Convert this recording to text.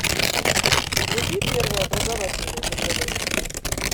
вруби первый образовательный на тв